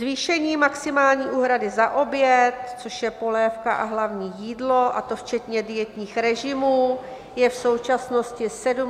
Zvýšení maximální úhrady za oběd, což je polévka a hlavní jídlo, a to včetně dietních režimů, je v současnosti 75 korun.